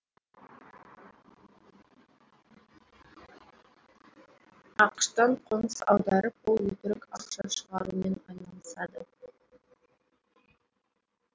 ақш тан қоныс аударып ол өтірік ақша шығарумен айналысады